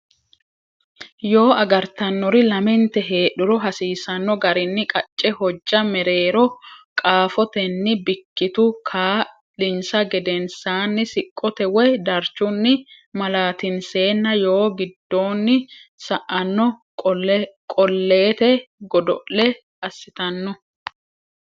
Yoo agartannori lamente heedhuro hasiisanno garinni qacce hojja mereero qaafotenni bikkitu kaa linsa gedensaanni siqqote woy darchunni malaatinseenna yoo giddoonni sa anno Qolleete Godo le assitanno.